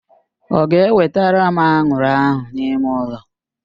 Ọ ga-ewetere m anwụrụ ahụ n'ime ụlọ?